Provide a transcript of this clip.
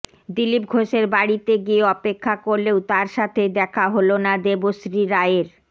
দিলীপ ঘোষের বাড়িতে গিয়ে অপেক্ষা করলেও তার সাথে দেখা হলো না দেবশ্রী রায়ের